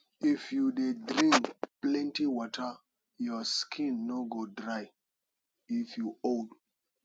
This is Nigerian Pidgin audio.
if you dey drink plenty water your skin no go dry if you old